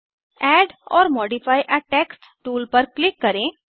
add or modify a text tool पर click करें